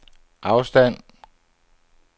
afstand